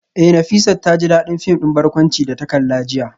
Eh Nafisat taji dadin film din barkwanci da ta kalla jiya